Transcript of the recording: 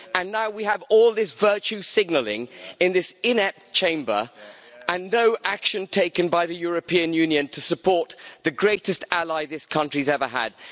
And now we have all this virtue signalling in this inept Chamber, and no action taken by the European Union to support the greatest ally this country has ever had.